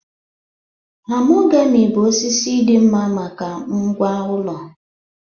Mahogamy bụ osisi dị mma maka ngwá ụlọ